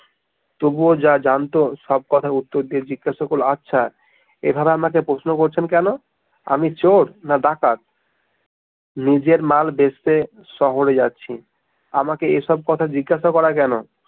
তবুও যা জানতো সব কথার উত্তর দিয়ে জিজ্ঞাসা করলো আচ্ছা এভাবে আমাকে প্রশ্ন করছেন কেনো? আমি চোর না ডাকাত? নিজের মাল বেচতে শহরে যাচ্ছি, আমাকে এসব কথা জিজ্ঞেস করা কেনো?